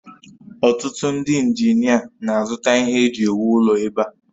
Otụtụ ndị injinia na-azụta ihe eji ewu ụlọ ebe a